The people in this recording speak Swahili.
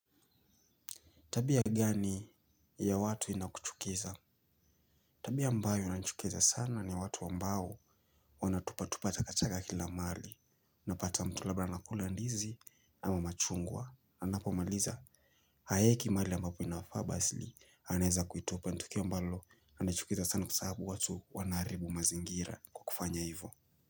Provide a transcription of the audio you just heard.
Tabia gani ya watu inakuchukiza? Tabia ambayo inachukiza sana ni watu ambao wanatupa tupa takataka kila mahali. Napata mtu labda anakula ndizi ama machungwa. Anapomaliza haeki mahali ambapo inafaa basili anaeza kuitupa. Ni tukio ambalo linanichukiza sana kwa sababu watu wanaharibu mazingira kwa kufanya hivyo.